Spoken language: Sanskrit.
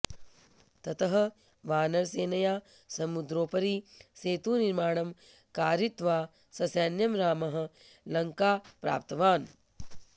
ततः वानरसेनया समुद्रोपरि सेतुनिर्माणं कारयित्वा ससैन्यं रामः लङ्कां प्राप्तवान्